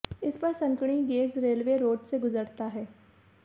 इस पर संकीर्ण गेज रेलवे रोड से गुजरता है